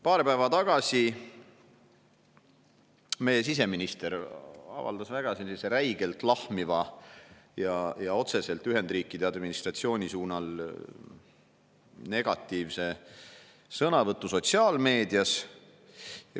Paar päeva tagasi meie siseminister avaldas sotsiaalmeedias väga räigelt lahmiva ja otseselt Ühendriikide administratsiooni kohta käiva negatiivse sõnavõtu.